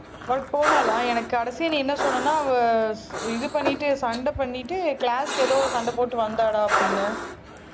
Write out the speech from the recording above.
work போனாலா எனக்கு கடைசி நீ என்ன சொன்னன்னா அவ இது பண்ணிட்டு சண்டை பண்ணிட்டு class க்கு எதோ சண்டை போட்டு வந்தாடா அப்படின்னு